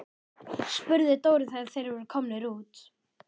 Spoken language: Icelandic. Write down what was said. spurði Dóri þegar þeir voru komnir út.